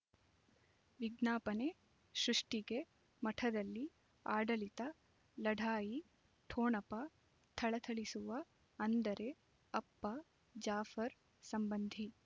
ವಿಜ್ಞಾಪನೆ ಸೃಷ್ಟಿಗೆ ಮಠದಲ್ಲಿ ಆಡಳಿತ ಲಢಾಯಿ ಠೊಣಪ ಥಳಥಳಿಸುವ ಅಂದರೆ ಅಪ್ಪ ಜಾಫರ್ ಸಂಬಂಧಿ